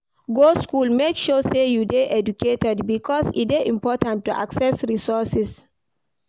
Go school make sure say you de educated because e de important to access resources